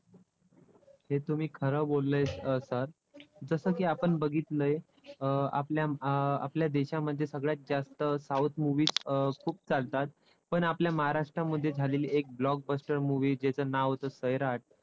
हे तुम्ही खरं बोललेत sir जसं की आपण बघितलंय अं आपल्या अं आपल्या देशामध्ये सगळ्यात जास्त south movies अं खूप चालतात. पण आपल्या महाराष्ट्रमध्ये झालेली एक blockbuster movie जेचं नाव होतं सैराट.